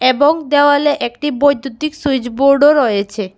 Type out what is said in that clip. এবং দেওয়ালে একটি বৈদ্যুতিক সুইচ বোর্ডও রয়েছে।